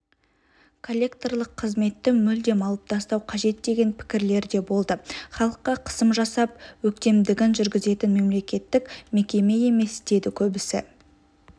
коллекторлық қызметті мүлдем алып тастау қажет деген пікірлер де болды халыққа қысым жасап өктемдігін жүргізетін мемлекеттік мекеме емес деді көбісі